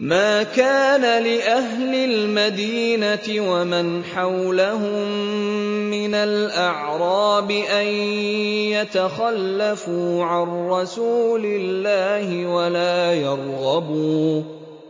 مَا كَانَ لِأَهْلِ الْمَدِينَةِ وَمَنْ حَوْلَهُم مِّنَ الْأَعْرَابِ أَن يَتَخَلَّفُوا عَن رَّسُولِ اللَّهِ